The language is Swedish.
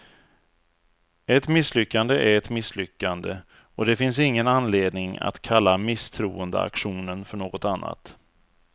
Ett misslyckande är ett misslyckande, och det finns ingen anledning att kalla misstroendeaktionen för något annat.